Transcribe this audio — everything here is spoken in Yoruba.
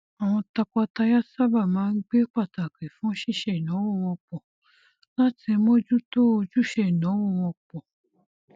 àwọn tọkọtaya sábà máa ń gbé pàtàkì fún ṣíṣe ináwó wọn pọ láti mojútó ojúṣe ináwó wọn pọ